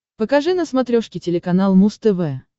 покажи на смотрешке телеканал муз тв